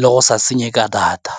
le go sa senye ka data.